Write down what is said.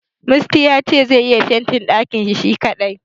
Musty ya ce zai iya fentin ɗakin shi kadai.